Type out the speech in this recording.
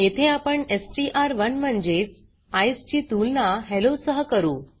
येथे आपण एसटीआर1 म्हणजेच ईसीई ची तुलना हेल्लो सह करू